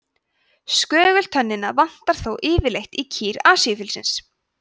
skögultönnina vantar þó yfirleitt í kýr asíufílsins